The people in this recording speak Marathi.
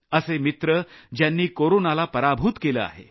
असे मित्र ज्यांनी कोरोनाला पराभूत केलं आहे